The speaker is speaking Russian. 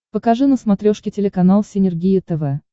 покажи на смотрешке телеканал синергия тв